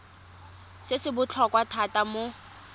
se se botlhokwa thata mo